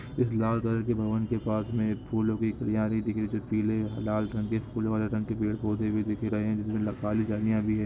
इस लाल कलर के भवन के पास में फूलों की कल्यारी दिख रही है जो पीले लाल रंग के फूल वाले रंग के पेड़ पौधे भी दिख रहे है जिसमे काली झाड़ियां भी है।